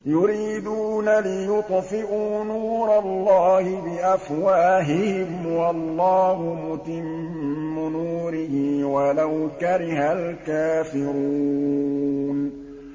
يُرِيدُونَ لِيُطْفِئُوا نُورَ اللَّهِ بِأَفْوَاهِهِمْ وَاللَّهُ مُتِمُّ نُورِهِ وَلَوْ كَرِهَ الْكَافِرُونَ